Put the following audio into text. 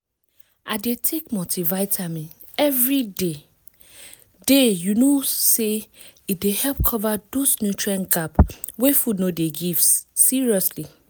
i dey take multivitamin every day day you know say e dey help cover those nutrient gap wey food no dey give seriously